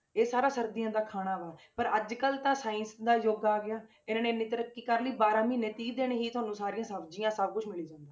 ਇਹ ਸਾਰਾ ਸਰਦੀਆਂ ਦਾ ਖਾਣਾ ਵਾਂ ਪਰ ਅੱਜ ਕੱਲ੍ਹ ਤਾਂ ਸਾਇੰਸ ਦਾ ਯੁੱਗ ਆ ਗਿਆ ਇਹਨਾਂ ਨੇ ਇੰਨੀ ਤਰੱਕੀ ਕਰ ਲਈ ਬਾਰਾਂ ਮਹੀਨੇ ਤੀਹ ਦਿਨ ਹੀ ਤੁਹਾਨੂੰ ਸਾਰੀਆਂ ਸਬਜ਼ੀਆਂ ਸਭ ਕੁਛ ਮਿਲੀ ਜਾਂਦਾ,